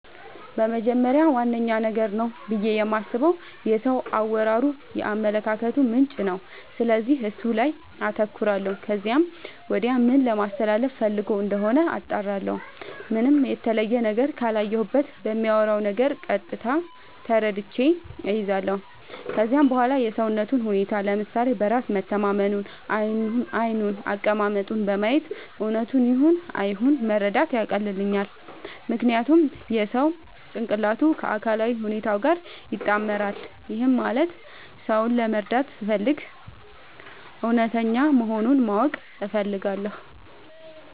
በመጀመሪያ ዋነኛ ነገር ነው ብዬ የማስበው የሰው አወራሩ የአመለካከቱ ምንጭ ነው፤ ስለዚህ እሱ ላይ አተኩራለው ከዚያም ወዲያ ምን ለማለስተላለፋ ፈልጎ እንደሆነ አጣራለሁ። ምንም የተለየ ነገር ካላየሁበት በሚያወራው ነገር ቀጥታ ተረድቼ እይዛለው። ከዚያም በዋላ የሰውነቱን ሁኔታ፤ ለምሳሌ በራስ መተማመኑን፤ ዓይኑን፤ አቀማመጡን በማየት እውነቱን ይሁን አይሁን መረዳት ያቀልልኛል። ምክንያቱም የሰው ጭንቅላቱ ከአካላዊ ሁኔታው ጋር ይጣመራል። ይህም ማለት ሰው ለመረዳት ስፈልግ እውነተኛ መሆኑን ማወቅ እፈልጋለው።